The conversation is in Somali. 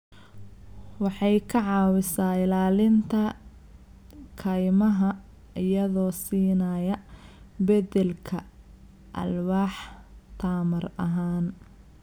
Waxay ka caawisaa ilaalinta kaymaha iyadoo siinaya beddelka alwaax tamar ahaan.